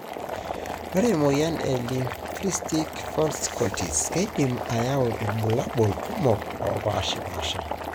Ore emoyian e Lymphocytic vasculitis keidim ayau ibulabul kumok opashpasha .